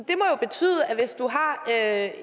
at